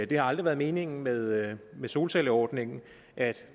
det har aldrig været meningen med med solcelleordningen at